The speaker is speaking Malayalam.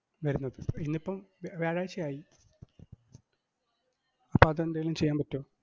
വരുന്നത്. ഇന്നിപ്പം വ്യ~ വ്യാഴാഴ്ചയായി, അപ്പോ അതെന്തേലും ചെയ്യാൻ പറ്റുവോ?